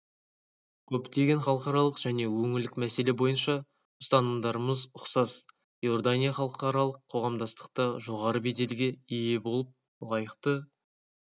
көптеген халықаралық және өңірлік мәселе бойынша ұстанымдарымыз ұқсас иордания халықаралық қоғамдастықта жоғары беделге ие болып лайықты